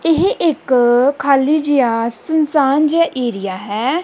ਇਹ ਇੱਕ ਖਾਲੀ ਜਿਹਾ ਸੁਨਸਾਨ ਜਿਹਾ ਏਰੀਆ ਹੈ।